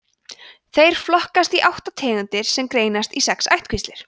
þeir flokkast í átta tegundir sem greinast í sex ættkvíslir